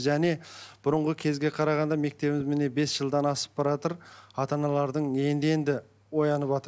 және бұрынғы кезге қарағанда мектебіміз міне бес жылдан асып баратыр ата аналардың енді енді ояныватыр